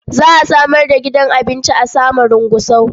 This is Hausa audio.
Za a samar da gidan abinci a Samarun Gusau.